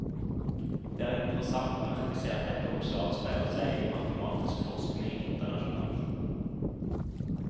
Det er interessant å merke seg at dette også avspeiler seg i matematisk forskning internasjonalt.